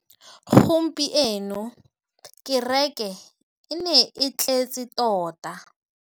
Gompieno kêrêkê e ne e tletse tota.